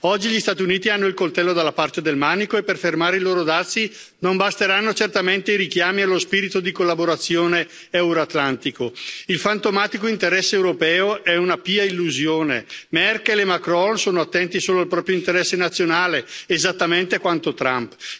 Oggi gli Stati Uniti hanno il coltello dalla parte del manico e per fermare i loro dazi non basteranno certamente i richiami allo spirito di collaborazione euroatlantico. Il fantomatico interesse europeo è una pia illusione. Merkel e Marcon sono attenti solo al proprio interesse nazionale, esattamente quanto Trump.